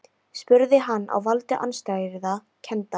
spurði hann, á valdi andstæðra kennda.